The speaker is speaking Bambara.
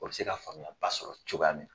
O bɛ se ka faamuyaya ba sɔrɔ cogoya min na